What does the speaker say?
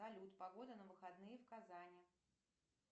салют погода на выходные в казани